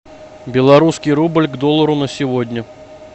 белорусский рубль к доллару на сегодня